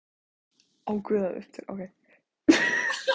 Geisli, hvaða stoppistöð er næst mér?